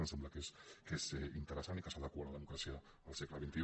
em sembla que és interessant i que s’adequa a la democràcia al segle xxi